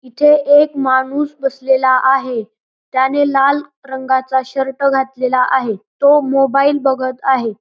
तिथे एक माणूस बसलेला आहे त्याने लाल रंगाचा शर्ट घातलेला आहे तो मोबाइल बघत आहे.